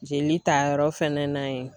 Jelitayɔrɔ fɛnɛ na yen